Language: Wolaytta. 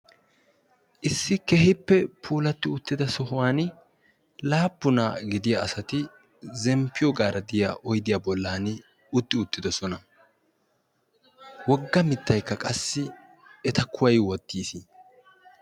issi keehippe puulatti uttida sohuwan laappuna gidiya asati zemppiyo gaaradiya oydiyaa bollan utti uttidosona wogga mittaykka qassi eta kuway wottiis